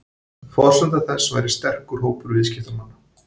Forsenda þess væri sterkur hópur viðskiptamanna